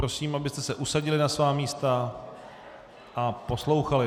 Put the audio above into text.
Prosím, abyste se usadili na svá místa a poslouchali.